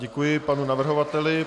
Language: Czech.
Děkuji panu navrhovateli.